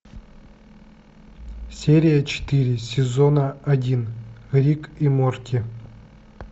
серия четыре сезона один рик и морти